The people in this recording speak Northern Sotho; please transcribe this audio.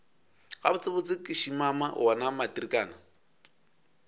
gabotsebotse ke šimama wona matrikana